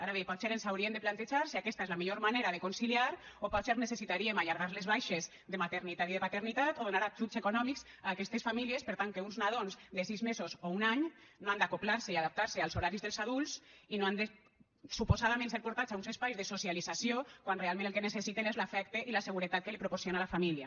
ara bé potser ens hauríem de plantejar si aquesta és la millor manera de conciliar o potser necessitaríem allargar les baixes de maternitat i de paternitat o donar ajuts econòmics a aquestes famílies per tal que uns nadons de sis mesos o un any no han d’acoblar se i adaptar se als horaris dels adults i no han de suposadament ser portats a uns espais de socialització quan realment el que necessiten és l’afecte i la seguretat que els proporciona la família